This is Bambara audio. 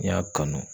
N'i y'a kanu